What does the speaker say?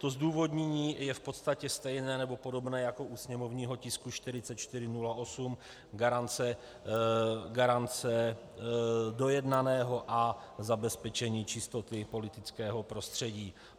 To zdůvodnění je v podstatě stejné nebo podobné jako u sněmovního tisku 4408, garance dojednaného a zabezpečení čistoty politického prostředí.